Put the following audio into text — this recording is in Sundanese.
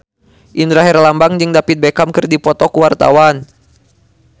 Indra Herlambang jeung David Beckham keur dipoto ku wartawan